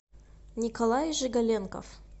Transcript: николай жигаленков